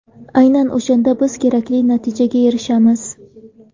Aynan o‘shanda biz kerakli natijaga erishamiz.